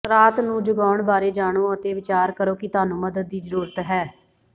ਰਾਤ ਨੂੰ ਜਗਾਉਣ ਬਾਰੇ ਜਾਣੋ ਅਤੇ ਵਿਚਾਰ ਕਰੋ ਕਿ ਤੁਹਾਨੂੰ ਮਦਦ ਦੀ ਜ਼ਰੂਰਤ ਹੈ